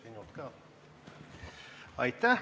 Aitäh!